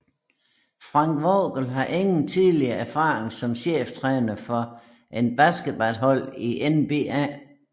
Frank Vogel har ingen tidligere erfaring som cheftræner for et baskethold i NBA